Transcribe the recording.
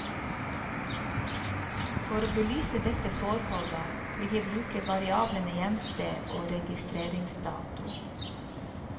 For å belyse dette forholdet vil jeg bruke variablene hjemsted og registreringsdato.